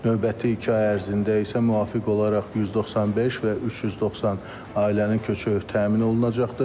Növbəti iki ay ərzində isə müvafiq olaraq 195 və 390 ailənin köçü təmin olunacaqdır.